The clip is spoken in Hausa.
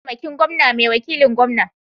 Mataimakin gwamna ne wakilin gwamna